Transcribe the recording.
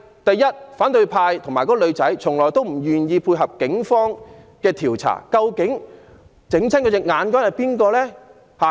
然而，反對派和該名傷者一直拒絕配合警方調查，究竟是誰令她的眼睛受傷？